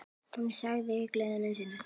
Hún sagði í gleði sinni: